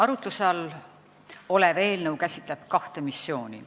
Arutluse all olev eelnõu käsitleb kahte missiooni.